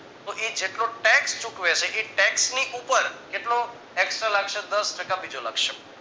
તો એ જેટલો tax ચૂકવે છે એ tax ની ઉપર કેટલો tax દસ ટકા બીજો લાગશે